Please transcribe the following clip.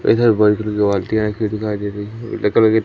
इधर भूरी कलर की बाल्टियां रखी दिखाई दे रही --